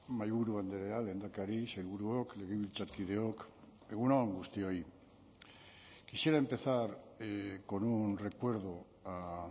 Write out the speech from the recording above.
mahaiburu andrea lehendakari sailburuok legebiltzarkideok egun on guztioi quisiera empezar con un recuerdo a